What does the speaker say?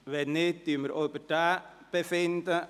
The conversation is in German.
– Wenn nicht, befinden wir auch darüber.